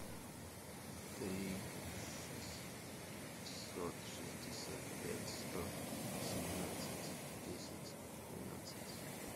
три шестьсот шестьдесят пять сто семнадцать десять двенадцать